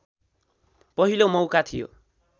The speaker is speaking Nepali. पहिलो मौका थियो